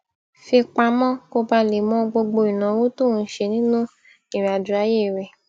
fi pamó kó bàa lè mọ gbogbo ìnáwó tó ń ṣe nínú ìrìnàjò ayé rè